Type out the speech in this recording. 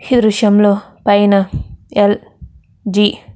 ఈ దృశ్యం లో పైన ఎల్.జి. --